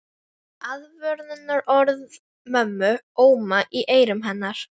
Aðvörunarorð mömmu óma í eyrum hennar.